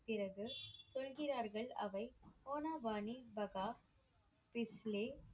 பிறகு, சொல்கிறார்கள் அவை